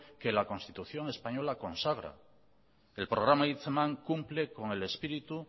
que la constitución española consagra el programa hitzeman cumple con el espíritu